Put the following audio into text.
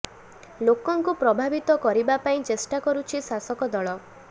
ଲୋକଙ୍କୁ ପ୍ରଭାବିତ କରିବା ପାଇଁ ଚେଷ୍ଟା କରୁଛି ଶାସକ ଦଳ